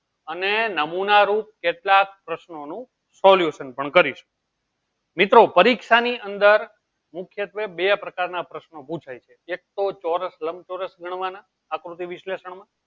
અને નમુના રૂપ કેટલાક પ્રશ્નો નું solution પણ કરીશ મિત્રો પરીક્ષા ની અંદર મુખ્ય બે પ્રકાર ના પ્રશ્નો પૂછે એક તો ચૌરસ લમ ચૌરસ ગણવાનું આકૃતિ વિશ્લેષણ